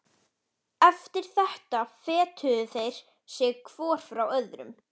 Eftir þetta fetuðu þeir sig hvor frá öðrum.